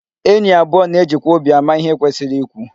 Enyi abụọ na-ejikwa obi ama ihe kwesịrị ikwu.